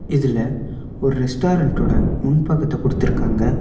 இதுல ஒரு ரெஸ்டாரண்ட் ஓட முன் பக்கத்த குடுதிருக்காங்க.